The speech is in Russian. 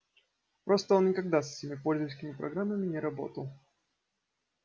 просто он никогда с этими пользовательскими программами не работал